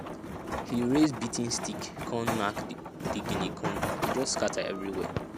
im raise beating stick come knack di guinea corn e just scatter everywhere